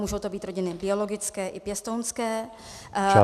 Můžou to být rodiny biologické i pěstounské.